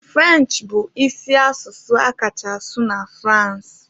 French bụ isi asụsụ a kacha asụ na France